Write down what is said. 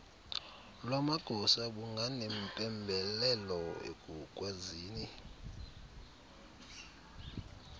lwamagosa bunganempembelelo ekukwazini